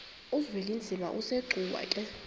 uzwelinzima asegcuwa ke